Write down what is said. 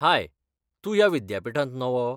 हाय, तूं ह्या विद्यापिठांत नवो?